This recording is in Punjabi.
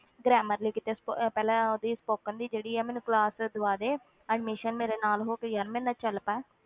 Grammar ਲਈ ਕਿਤੇ ਸ~ ਪਹਿਲੇ ਉਹਦੀ spoken ਦੀ ਜਿਹੜੀ ਹੈ ਮੈਨੂੰ class ਦਵਾ ਦੇ admission ਮੇਰੇ ਨਾਲ ਹੋ ਕੇ ਯਾਰ ਮੇਰੇ ਨਾਲ ਚੱਲ ਪੈ,